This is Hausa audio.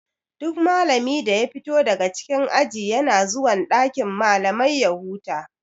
Duk malami da ya fito daga cikin aji yana zuwan dakin malamai ya huta.